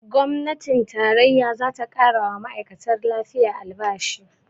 Gwamnatin tarayya zata ƙarawa ma'aikatan lafiya albashi